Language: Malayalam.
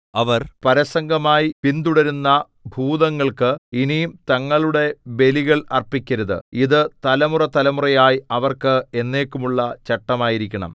അവർ പരസംഗമായി പിന്തുടരുന്ന ഭൂതങ്ങൾക്ക് ഇനി തങ്ങളുടെ ബലികൾ അർപ്പിക്കരുത് ഇതു തലമുറതലമുറയായി അവർക്ക് എന്നേക്കുമുള്ള ചട്ടം ആയിരിക്കണം